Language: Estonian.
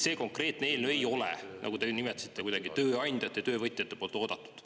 See konkreetne eelnõu ei ole, nagu te nimetasite, kuidagi tööandjatele ja töövõtjatele väga oodatud.